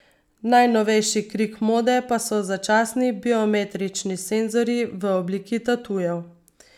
Najnovejši krik mode pa so začasni biometrični senzorji v obliki tatujev.